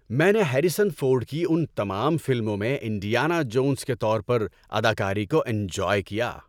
میں نے Harrison Ford کی ان کی تمام فلموں میں انڈیانا جونس کے طور پر اداکاری کو انجوائے کیا۔